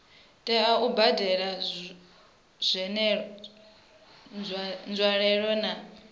tea u badela nzwalelo na